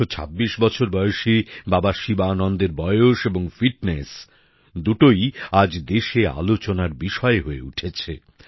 ১২৬ বছর বয়সী বাবা শিবানন্দের বয়স এবং ফিটনেস দুটোই আজ দেশে আলোচনার বিষয় হয়ে উঠেছে